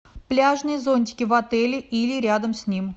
пляжные зонтики в отеле или рядом с ним